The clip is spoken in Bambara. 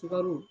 Sukaro